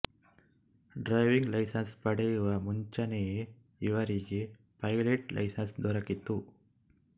driving license ಪಡೆಯುವ ಮುಂಚೆಯೇ ಇವರಿಗೆ ಪೈಲೆಟ್ ಲೈಸೆನ್ಸ್ ದೊರಕಿತ್ತು